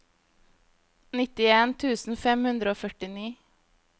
nittien tusen fem hundre og førtini